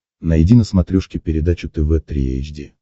найди на смотрешке передачу тв три эйч ди